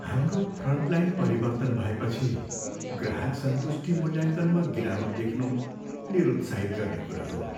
हाम्रो फ्रन्टलाइन परिवर्तन भएपछि ग्राहक सन्तुष्टि मूल्याङ्कनमा गिरावट देख्नु निरुत्साहित गर्ने कुरा हो।